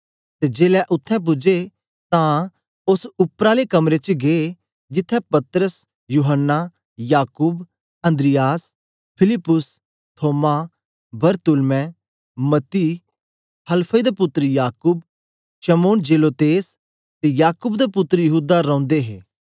ते जेलै उत्थें पूजे तां ओस उपर आले कमरे च गै जिथें पतरस यूहन्ना याकूब अन्द्रियास फिलिप्पुस थोमा बरतुल्मै मत्ती हलफई दा पुत्तर याकूब शमौन जेलोतेस ते याकूब दा पुत्तर यहूदा रौंदे हे